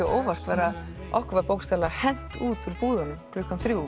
á óvart var að okkur var bókstaflega hent út úr búðunum klukkan þrjú